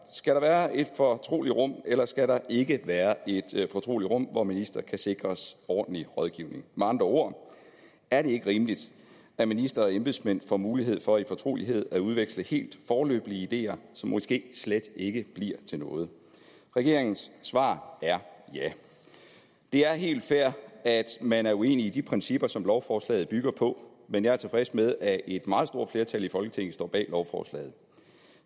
skal der være et fortroligt rum eller skal der ikke være et fortroligt rum hvor ministre kan sikres ordentlig rådgivning med andre ord er det ikke rimeligt at ministre og embedsmænd får mulighed for i fortrolighed at udveksle helt foreløbige ideer som måske slet ikke bliver til noget regeringens svar er ja det er helt fair at man er uenig i de principper som lovforslaget bygger på men jeg er tilfreds med at et meget stort flertal i folketinget står bag lovforslaget